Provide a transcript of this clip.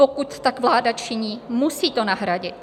Pokud tak vláda činí, musí to nahradit.